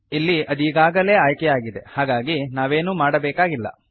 ಇಲ್ಲಿ ಅದೀಗಾಗಲೇ ಆಯ್ಕೆಯಾಗಿದೆ ಹಾಗಾಗಿ ನಾವೇನೂ ಮಾಡಬೇಕಾಗಿಲ್ಲ